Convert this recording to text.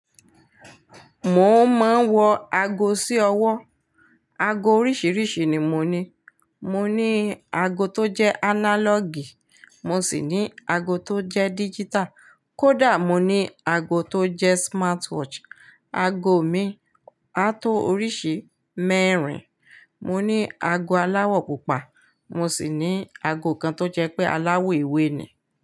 Mo máa ń wọ aago sí ọwọ́. Ago oríṣiríṣi ni mo ní. Mo ní aago tó jẹ́ analog, mo sì ní ago tó jẹ́ digital. Kódà mo ní aago tó jẹ́ smartwatch. Aago mi a tó oríṣi mẹ́rin. Mo ní aago aláwọ̀ pupa. Mo sì ní ago kan tó jẹ́ pé aláwọ̀ ewé ni.